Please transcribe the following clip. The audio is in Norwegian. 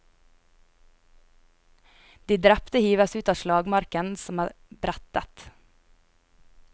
De drepte hives ut av slagmarken som er brettet.